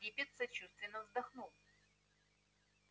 диппет сочувственно вздохнул